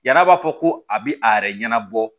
Yann'a b'a fɔ ko a bɛ a yɛrɛ ɲɛnabɔ